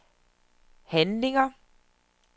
handlinger